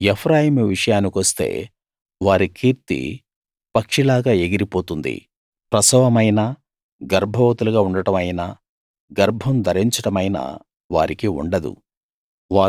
ఎఫ్రాయిము విషయానికొస్తే వారి కీర్తి పక్షిలాగా ఎగిరిపోతుంది ప్రసవమైనా గర్భవతులుగా ఉండడం అయినా గర్భం ధరించడమైనా వారికి ఉండదు